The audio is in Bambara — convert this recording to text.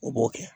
O b'o kɛ